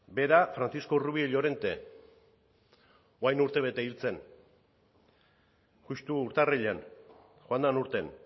bera francisco rubio llorente orain dela urtebete hil zen justu urtarrilean joan den urtean